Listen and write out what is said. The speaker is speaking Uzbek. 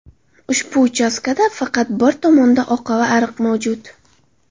Ushbu uchastkada faqat bir tomonda oqava ariq mavjud.